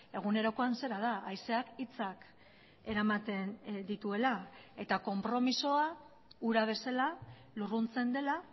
egunerokoan zera da haizeak hitzak eramaten dituela eta konpromisoa ura bezala lurruntzen dela